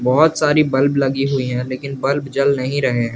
बहुत सारी बल्ब लगी हुई है लेकिन बल्ब जल नहीं रहे हैं।